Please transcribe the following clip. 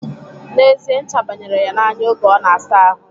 N'ezie, ncha bayere ya n'anya oge ọ na-asa ahụ